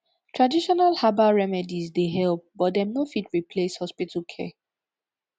traditional herbbal remedies dey help but dem no fit replace hospital care